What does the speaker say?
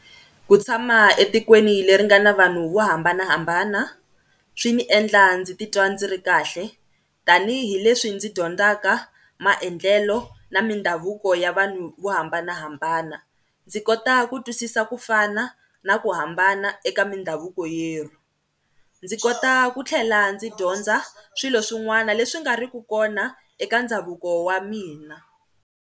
Ku tshama etikweni leri nga na vanhu vo hambanahambana swi ni endla ndzi titwa ndzi ri kahle tanihileswi ndzi dyondzaka maendlelo na mindhavuko ya vanhu vo hambanahambana, ndzi kota ku twisisa ku fana na ku hambana eka mindhavuko yerhu, ndzi kota ku tlhela ndzi dyondza swilo swin'wana leswi nga ri ku kona eka ndhavuko wa mina.